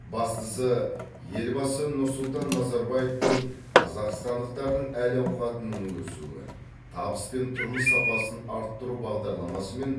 бастысы елбасы нұрсұлтан назарбаевтың қазақстандықтардың әл ауқатының өсуі табыс пен тұрмыс сапасын арттыру бағдарламасымен